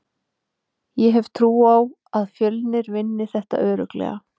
Ég hef trú á að Fjölnir vinni þetta örugglega.